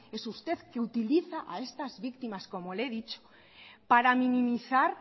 es usted que utiliza a estas victimas como le he dicho para minimizar